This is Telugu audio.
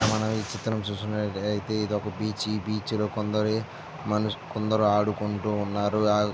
మనం ఈ చిత్రం చూస్తున్నట్లయితే ఇది ఒక బీచ్ . ఈ బీచ్ లో కొందరు మనుస్ కొందరు ఆడుకుంటున్నారు.